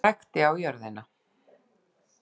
Og hrækti á jörðina.